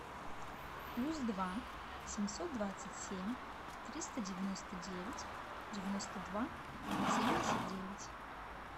плюс два семьсот двадцать семь триста девяносто девять девяносто два семьдесят девять